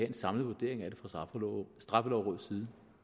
en samlet vurdering af det fra straffelovrådets